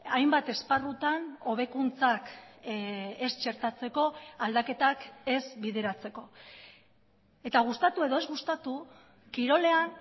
hainbat esparrutan hobekuntzak ez txertatzeko aldaketak ez bideratzeko eta gustatu edo ez gustatu kirolean